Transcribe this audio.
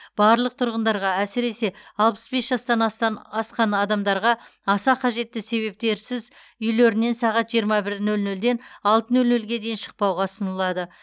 барлық тұрғындарға әсіресе алпыс бес жастан астан асқан адамдарға аса қажетті себептерсіз үйлерінен сағат жиырма бір нөл нөлден алты нөл нөлге дейін шықпауға ұсынылады